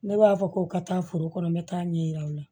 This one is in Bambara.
Ne b'a fɔ ko ka taa foro kɔnɔ n bɛ taa ɲɛ yira o la